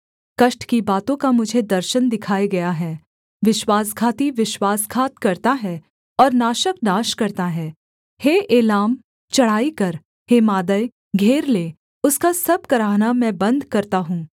कष्ट की बातों का मुझे दर्शन दिखाया गया है विश्वासघाती विश्वासघात करता है और नाशक नाश करता है हे एलाम चढ़ाई कर हे मादै घेर ले उसका सब कराहना मैं बन्द करता हूँ